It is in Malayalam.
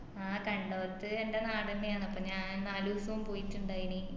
ആഹ് കണ്ടോത്ത് എൻ്റെ നാടെന്നെയാന്ന് അപ്പൊ ഞാൻ നാലുസോം പോയിറ്റിണ്ടയിന്